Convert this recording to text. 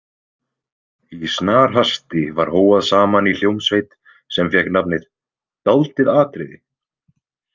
Í snarhasti var hóað saman í hljómsveit sem fékk nafnið „Dáldið atriði“.